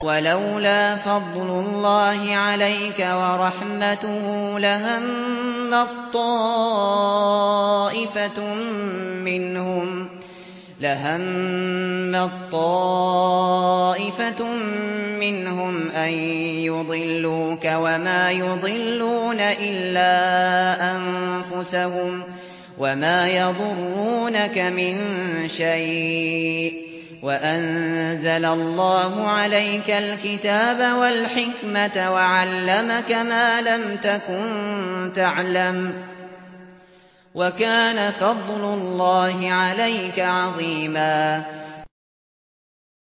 وَلَوْلَا فَضْلُ اللَّهِ عَلَيْكَ وَرَحْمَتُهُ لَهَمَّت طَّائِفَةٌ مِّنْهُمْ أَن يُضِلُّوكَ وَمَا يُضِلُّونَ إِلَّا أَنفُسَهُمْ ۖ وَمَا يَضُرُّونَكَ مِن شَيْءٍ ۚ وَأَنزَلَ اللَّهُ عَلَيْكَ الْكِتَابَ وَالْحِكْمَةَ وَعَلَّمَكَ مَا لَمْ تَكُن تَعْلَمُ ۚ وَكَانَ فَضْلُ اللَّهِ عَلَيْكَ عَظِيمًا